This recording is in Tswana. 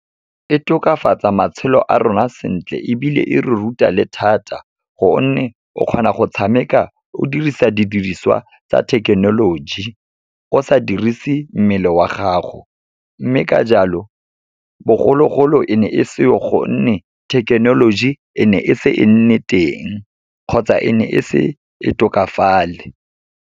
E tokafatsa matshelo a rona sentle ebile e re ruta le thata gonne, o kgona go tshameka o dirisa didiriswa tsa thekenoloji, o sa dirise mmele wa gago. Mme ka jalo, bogologolo e ne e seo gonne thekenoloji e ne e se e nne teng, kgotsa e ne e se e tokafale.